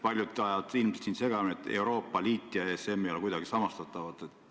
Paljud ajavad ilmselt siin segamini, aga Euroopa Liit ja ESM ei ole kuidagi samastatavad.